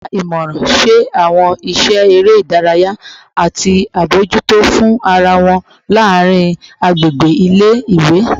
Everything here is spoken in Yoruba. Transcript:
Wọn wa imọran, ṣe awọn iṣẹ ere idaraya, ati abojuto fun ara wọn laarin agbegbe ile-iwe